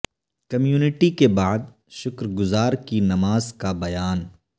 community کے بعد شکر گزار کی نماز کا بیان